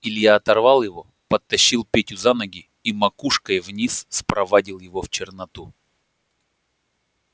илья оторвал его подтащил петю за ноги и макушкой вниз спровадил его в черноту